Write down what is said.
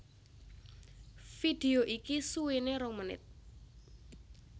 Vidéo iki suwéné rong menit